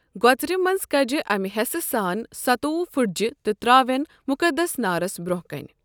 گۄژرِ منٛزٕ کَجہِ أمۍ ہٮ۪سہٕ سان ستووُہ پُھٹجہِ تہٕ ترٛاوٮ۪ن مُقِدس نارس برٛونٛہہ کنہِ۔